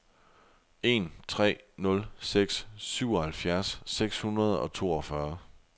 en tre nul seks syvoghalvfjerds seks hundrede og toogfyrre